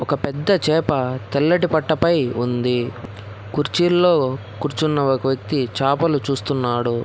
ఒక పెద్ద చేప తెల్లటి పట్టపై ఉంది కుర్చీల్లో కూర్చున్న ఒక వ్యక్తి చాపలు చూస్తున్నాడు.